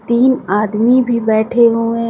तीन आदमी भी बैठे हुए है।